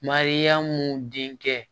Mariyamu denkɛ